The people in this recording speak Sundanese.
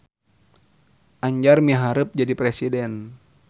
Anjar miharep jadi presiden